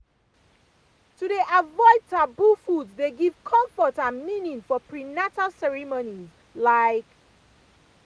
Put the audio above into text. to dey avoid taboo foods dey give comfort and meaning for prenatal ceremonies ah like